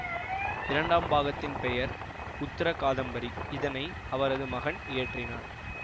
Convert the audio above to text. இரண்டாம் பாகத்தின் பெயர் உத்தர காதம்பரி இதனை அவரது மகன் இயற்றினார்